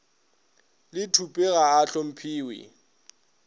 le thupe ga a hlomphiwe